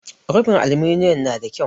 Rufin aluminiyom nada kyau.